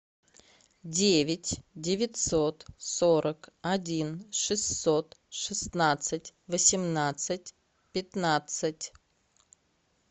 девять девятьсот сорок один шестьсот шестнадцать восемнадцать пятнадцать